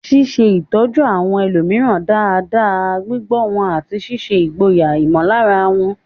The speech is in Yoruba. Ṣíṣe ìtọ́jú àwọn ẹlòmíràn dáadáa, gbígbọ́ wọn, àti ṣíṣe ìgboyà ìmọ̀lára wọn.